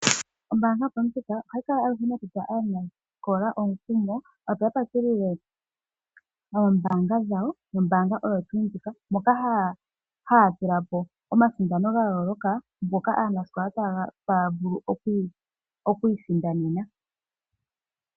Ombaanga yoStandard ohayi kala aluhe nokutsa aanasikola omukumo, opo ya patulule omayalulo gombaanga nombaanga oyo tuu ndjika moka haya tula po omasindano ga yooloka ngoka aanasikola taya vulu oku isindanena.